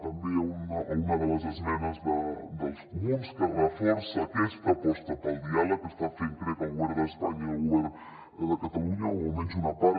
també a una de les esmenes dels comuns que reforça aquesta aposta pel diàleg que estan fent crec el govern d’espanya i el govern de catalunya o almenys una part